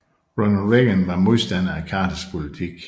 Ronald Reagan var modstander af Carters politik